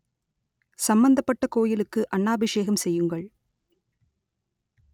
சம்மந்தப்பட்ட கோயிலுக்கு அன்னாபிஷேகம் செய்யுங்கள்